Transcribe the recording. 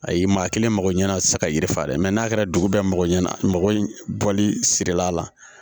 Ayi maa kelen mako ɲɛna sisan ka yiri falen mɛ n'a kɛra dugu bɛɛ mako ɲɛna mɔgɔ in bɔli sirilen a la